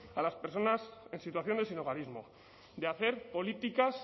a las personas en situación de sinhogarismo de hacer políticas